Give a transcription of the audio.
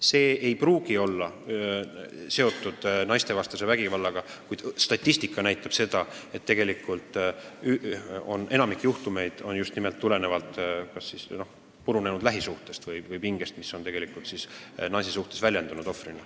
See ei pruugi olla seotud naistevastase vägivallaga, kuid statistika näitab seda, et tegelikult enamik juhtumeid on tulenenud kas purunenud lähisuhtest või muust pingest, mis on naise kui ohvri peale valatud.